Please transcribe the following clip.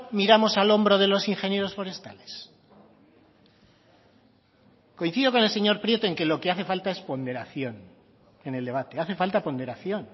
miramos al hombro de los ingenieros forestales coincido con el señor prieto en que lo que hace falta es ponderación en el debate hace falta ponderación